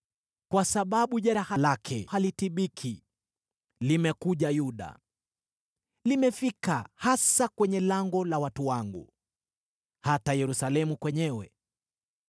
Kwa sababu jeraha lake halitibiki; limekuja Yuda. Limefika hasa kwenye lango la watu wangu, hata Yerusalemu kwenyewe.